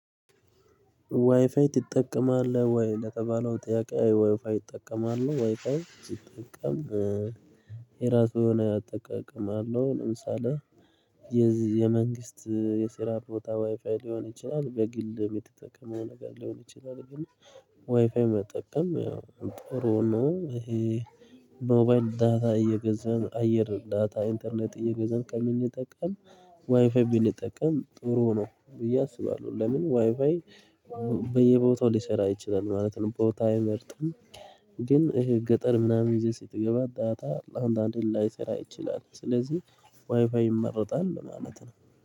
ዋይፋይ ትጠቀማለህ ወይ? ለተባለው ጥያቄ ዋይፋይ ይጠቀማሉ ዋይፋይ ሲጠቀም የራሱን አጠቃቀም አለው። ለምሳሌ የዚህ የመንግስት የስራ ቦታ ዋይፋይ ሊሆን ይችላል በግል የምትጠቀመው ነገር ሊሆን ይችላል። ግን ዋይፋይ መጠቀም ጥሩ ነው። ይሄ ሞባይል ዳታ እየገዛን አየር ዳታ ኢንተርኔት እየገዛን ከምንጠቀም ዋይፋይ ብንጠቀም ጥሩ ሆኖ ብዬ አስባለሁ። ለምን ዋይፋይ በየቦታው ሊሰራ ይችላል ማለት ነው። ቦታ አይመርጥም ግን እሄ ገጠር ምናምን ይዘህ ስትገባ ዳታ አንዳንዴ ላይሰራ ይችላል። ስለዚህ ዋይፋይ ይመረጣል ማለት ነው